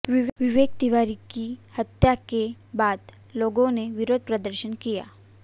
विवेक तिवारी की हत्या के बाद लोगो ने विरोध प्रदर्शन किया